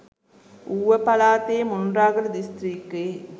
ඌව පළාතේ මොණරාගල දිස්ත්‍රික්කයේ